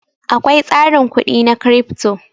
Akwai tsarin kudi na Crypto.